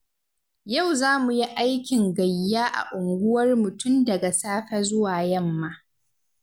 Yau za mu yi aikin gayya a unguwarmu tun daga safe zuwa yamma.